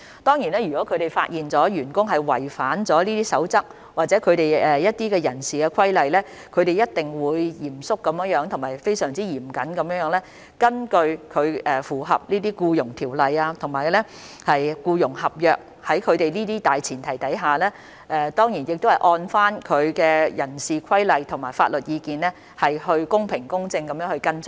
當然，如果醫管局發現有員工違反這些守則或人事規例，他們一定會嚴肅和嚴謹地處理，在符合《僱傭條例》和僱傭合約等的大前提下，當然亦會按照人事規例和法律意見，公平、公正地跟進。